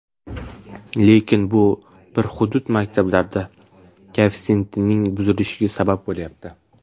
Lekin bu bir hudud maktablarida koeffitsiyentning buzilishiga sabab bo‘lyapti.